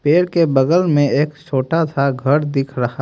पेड़ के बगल में एक छोटा सा घर दिख रहा--